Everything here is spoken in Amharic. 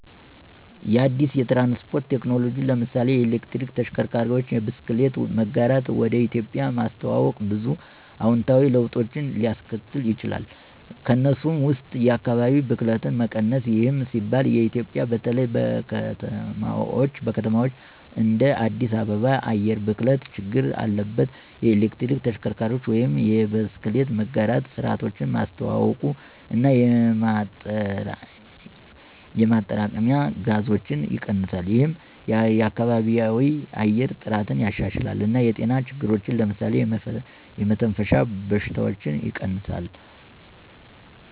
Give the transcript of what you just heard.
አዲስ የትራንስፖርት ቴክኖሎጂን (ለምሳሌ የኤሌክትሪክ ተሽከርካሪዎች፣ የብስክሌት መጋራት) ወደ ኢትዮጵያ ማስተዋወቅ ብዙ አዎንታዊ ለውጦችን ሊያስከትል ይችላል። ከእነሱም ውስጥ የአካባቢ ብክለት መቀነስ ይህም ሲባል ኢትዮጵያ በተለይ በከተማዎች እንደ አዲስ አበባ የአየር ብክለት ችግር አለባት። የኤሌክትሪክ ተሽከርካሪዎች ወይም የብስክሌት መጋራት ስርዓቶች ማስተዋውቀው እና የማጥረቂያ ጋዞችን ይቀንሳል። ይህም የከባቢያዊ የአየር ጥራትን ያሻሽላል እና የጤና ችግሮችን (ለምሳሌ የመተንፈሻ በሽታዎች) ይቀንሳል።